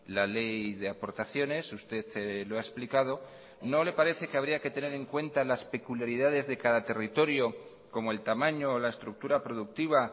la ley de aportaciones usted lo ha explicado no le parece que habría que tener en cuenta las peculiaridades de cada territorio como el tamaño la estructura productiva